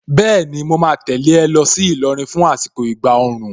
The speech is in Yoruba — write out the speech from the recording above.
Bẹ́ẹ̀ni, mo ma tẹ̀lé ẹ lọ sí Ìlọrin fún àsìkò ìgbà òòrùn.